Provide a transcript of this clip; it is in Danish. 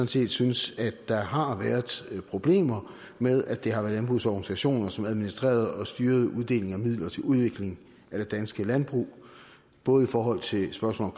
set synes at der har været problemer med at det har været landbrugets organisationer som administrerede og styrede uddelingen af midler til udvikling af det danske landbrug både i forhold til spørgsmål